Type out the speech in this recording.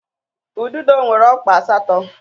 Ududo nwere ọkpa asatọ